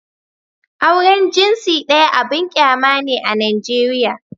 Auren jinsi ɗaya abin kyama ne a Najeriya